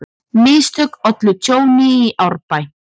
Mistök ollu tjóni í Árbæ